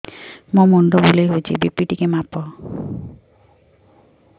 ମୋ ମୁଣ୍ଡ ବୁଲେଇ ହଉଚି ବି.ପି ଟିକେ ମାପ